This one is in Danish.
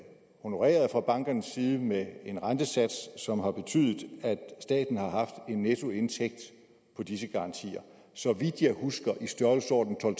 honoreret fra bankernes side med en rentesats som har betydet at staten har haft en nettoindtægt på disse garantier så vidt jeg husker i størrelsesordenen